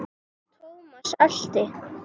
Thomas elti.